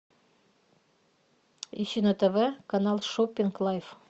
ищи на тв канал шоппинг лайф